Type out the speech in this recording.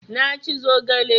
Na ci zogale